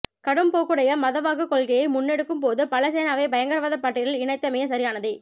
கடும்போக்குடைய மதவாதக் கொள்கைகளை முன்னெடுக்கும் பொது பலசேனாவை பயங்கரவாதப் பட்டியலில் இணைத்தமை சரியானதே